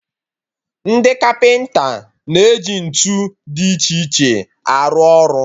Ndị kapịnta na-eji ntụ dị iche iche arụ ọrụ